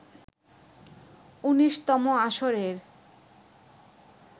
১৯তম আসরের